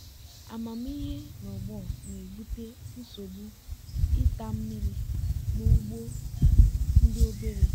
amamihe nke ọgbọ na-achọ composting maka okra na agwa.